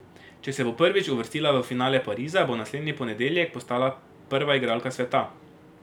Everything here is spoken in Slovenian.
Če se bo prvič uvrstila v finale Pariza, bo naslednji ponedeljek postala prva igralka sveta.